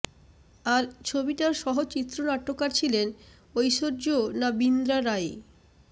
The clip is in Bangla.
আর ছবিটার সহ চিত্রনাট্যকার ছিলেন ঐশ্বর্যর না বিন্দ্রা রাই